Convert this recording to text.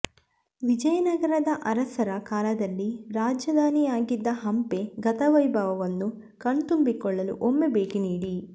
ವಿಜಯನಗರದ ಅರಸರ ಕಾಲದಲ್ಲಿ ರಾಜಧಾನಿಯಾಗಿದ್ದ ಹಂಪೆ ಗತವೈಭವವನ್ನು ಕಣ್ತುಂಬಿಕೊಳ್ಳಲು ಒಮ್ಮೆ ಭೇಟಿ ನೀಡಿ